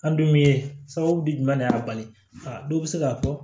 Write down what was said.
An dun ye sababu bi jumɛn de y'a bali aa dɔw bɛ se k'a fɔ